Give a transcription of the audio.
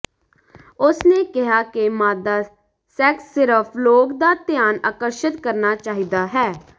ਉਸ ਨੇ ਕਿਹਾ ਕਿ ਮਾਦਾ ਸੈਕਸ ਸਿਰਫ ਲੋਕ ਦਾ ਧਿਆਨ ਆਕਰਸ਼ਿਤ ਕਰਨਾ ਚਾਹੀਦਾ ਹੈ